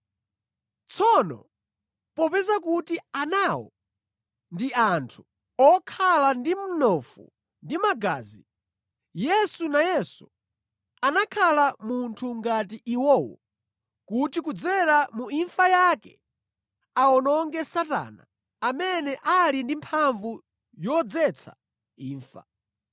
Tsono popeza kuti anawo ndi anthu, okhala ndi mnofu ndi magazi, Yesu nayenso anakhala munthu ngati iwowo kuti kudzera mu imfa yake awononge Satana amene ali ndi mphamvu yodzetsa imfa.